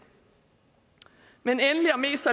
men endelig og mest